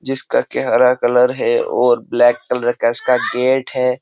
जिसका के हरा कलर है और ब्लैक कलर का इसका गेट है।